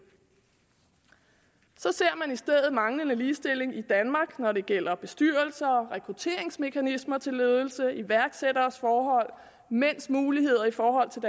så ser man i stedet manglende ligestilling i danmark når det gælder bestyrelser og rekrutteringsmekanismer til ledelse iværksætteres forhold mænds muligheder i forhold til